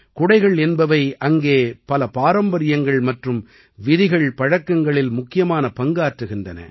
குடைகள் என்பவை அங்கே பல பாரம்பரியங்கள் மற்றும் விதிகள் பழக்கங்களில் முக்கியமான பங்காற்றுகின்றன